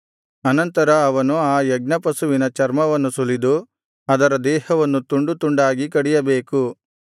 ಅನಂತರ ಅವನು ಆ ಯಜ್ಞಪಶುವಿನ ಚರ್ಮವನ್ನು ಸುಲಿದು ಅದರ ದೇಹವನ್ನು ತುಂಡು ತುಂಡಾಗಿ ಕಡಿಯಬೇಕು